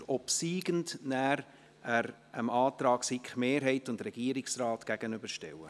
Den obsiegenden Artikel werden wir dann dem Antrag von SiK-Mehrheit und Regierungsrat gegenüberstellen.